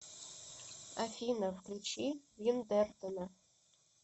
афина включи виндертона